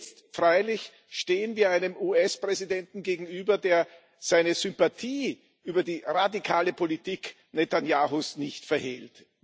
Jetzt freilich stehen wir einem US Präsidenten gegenüber, der seine Sympathie für die radikale Politik Netanjahus nicht verhehlt.